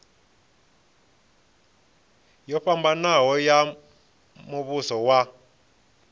yo fhambanaho ya muvhuso wa